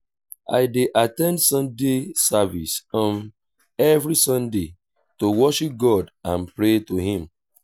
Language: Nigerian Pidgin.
i dey at ten d sunday service um every sunday to worship god and pray to him.